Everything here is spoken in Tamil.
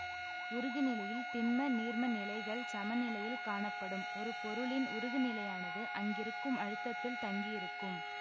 உருகுநிலையில் திண்ம நீர்ம நிலைகள் சமநிலையில் காணப்படும் ஒரு பொருளின் உருகுநிலையானது அங்கிருக்கும் அழுத்தத்தில் தங்கியிருக்கும்